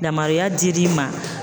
Yamaruya dir'i ma